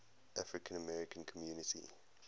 african american community